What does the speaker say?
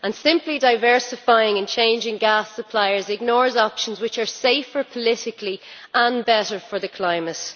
Simply diversifying and changing gas suppliers ignores options which are safer politically and better for the climate.